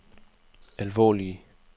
alvorlige